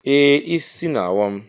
Ee, isi na-awa m.